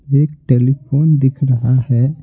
एक टेलीफोन दिख रहा है।